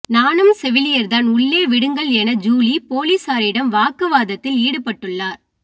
நானும் செவிலியர் தான் உள்ளே விடுங்கள் என ஜூலி போலீசாரிடம் வாக்கு வாதத்தில் ஈடுபட்டுள்ளார்